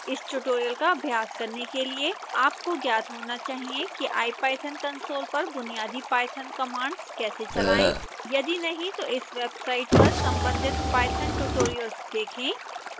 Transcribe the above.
इस ट्यूटोरियल का अभ्यास करने के लिए आपको ज्ञात होना चाहिए कि ipython console पर बुनियादी पाइथन कमांड कैसे चलाएं